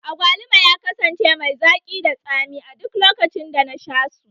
Agwaluma ya kasance mai zaki da tsami a duk lokacin da na sha su